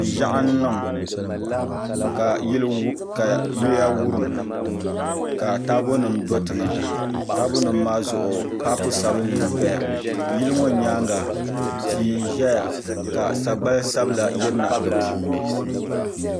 Ʒiɛɣu n niŋ ka yiya wurim ka taabo nim do tiŋa taabo nim maa zuɣu paapu sabinli n doya yili ŋɔ nyaanga tia n ʒɛya ka sagbani sabila yirina di puuni